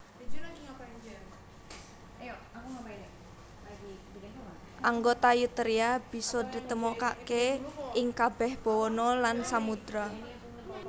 Anggota Eutheria bisa ditemokaké ing kabèh bawana lan samudra